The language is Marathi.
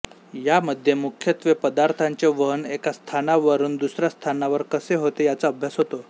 या मध्ये मुख्यत्वे पदार्थाचे वहन एका स्थानावरुन दुसऱ्या स्थानावर कसे होते याचा अभ्यास होतो